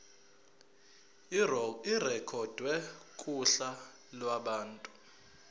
irekhodwe kuhla lwabantu